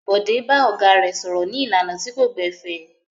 Bọ̀dé bá ọ̀gá rẹ̀ sọ̀rọ̀ ní ìlànà tí kò gbẹ̀fẹ̀.